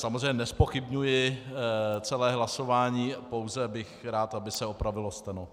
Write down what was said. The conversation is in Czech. Samozřejmě nezpochybňuji celé hlasování, pouze bych rád, aby se opravilo steno.